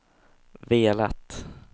velat